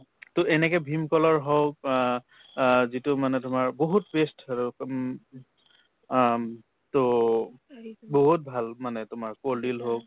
to এনেকে ভীমকলৰ হওক আ আ যিটো মানে তোমাৰ বহুত উম আম to বহুত ভাল মানে তোমাৰ কলডিল হওক